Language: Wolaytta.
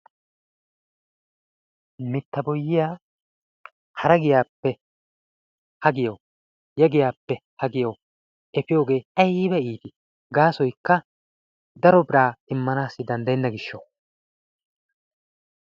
Mitta boyyiya hara giyaappe ha giyawu ya giyaappe ha giyawu efiyogee ayiba iitii! Gaasoykka daro biraa immanaassi danddayenna gishshawu.